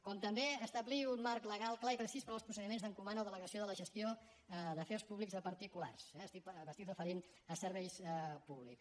com també establir un marc legal clar i precís per als procediments d’encomanar o delegació de la gestió d’afers públics a particulars eh m’estic referint a serveis públics